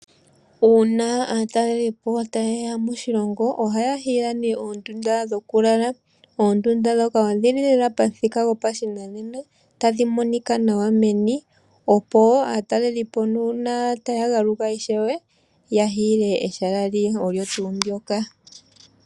Uuna aatalelipo taye ya moshilongo ohaya hiila oondunda dhokulala. Oondunda ndhoka odhi li lela pamuthika gopashinanena tadhi monika nawa meni, opo aatalelipo uuna taya ka galuka natango ya hiile oondunda ndhika.